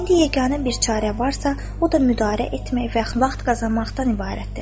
İndi yeganə bir çarə varsa, o da müdarə etmək və vaxt qazanmaqdan ibarətdir.